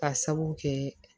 K'a sabu kɛ